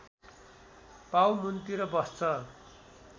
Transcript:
पाउमुन्तिर बस्छ